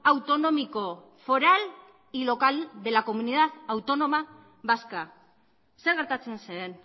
autonómico foral y local de la comunidad autónoma vasca zer gertatzen zen